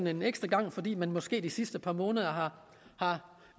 en ekstra gang fordi man måske de sidste par måneder har